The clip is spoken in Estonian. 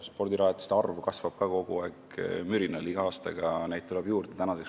Spordirajatiste arv kasvab ka mürinal kogu aeg, neid tuleb iga aastaga juurde.